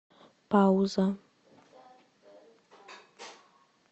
пауза